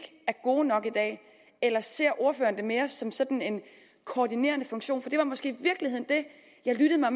er gode nok eller ser ordføreren det mere som sådan en koordinerende funktion for det var måske i det jeg lyttede mig